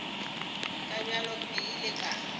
ka bjako ke ile ka